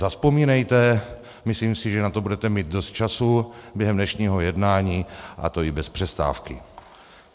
Zavzpomínejte, myslím si, že na to budete mít dost času během dnešního jednání, a to i bez přestávky.